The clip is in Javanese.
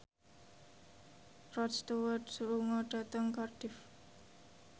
Rod Stewart lunga dhateng Cardiff